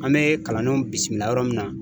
An bɛ kalandenw bisimila yɔrɔ min na.